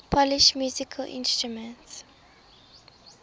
polish musical instruments